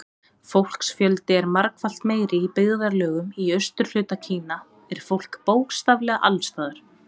Fólksfjöldi er margfalt meiri Í byggðarlögum í austurhluta Kína er fólk bókstaflega alls staðar.